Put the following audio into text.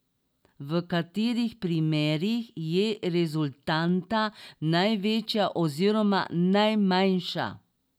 V katerih primerih je rezultanta največja oziroma najmanjša?